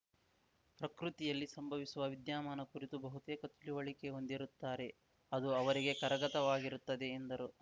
ಪ್ರಕೃತಿಯಲ್ಲಿ ಸಂಭವಿಸುವ ವಿದ್ಯಾಮಾನ ಕುರಿತು ಬಹುತೇಕ ತಿಳುವಳಿಕೆ ಹೊಂದಿರುತ್ತಾರೆ ಅದು ಅವರಿಗೆ ಕರಗತವಾಗಿರುತ್ತದೆ ಎಂದರು